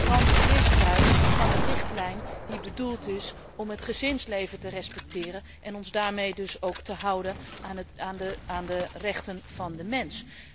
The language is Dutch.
Dat is een flagrant misbruik van een richtlijn die bedoeld is om het gezinsleven te respecteren en ons daarmee dus ook te houden aan de rechten van de mens.